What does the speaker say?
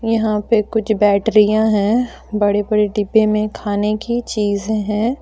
यहां पे कुछ बैटरियां हैं बड़े बड़े डिब्बे में खाने की चीज हैं।